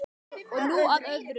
Og nú að öðru.